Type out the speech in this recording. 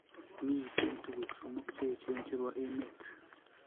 Miitei tuguuk somok che eecheen che po emet.